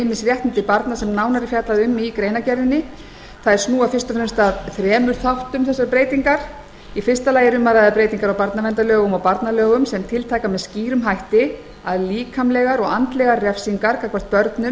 ýmis réttindi barna sem nánar er fjallað um í greinargerðinni þessar breytingar snúa fyrst og fremst að þremur þáttum í fyrsta lagi er um að ræða breytingar á barnaverndarlögum og barnalögum sem tiltaka með skýrum hætti að líkamlegar og andlegar refsingar gagnvart börnum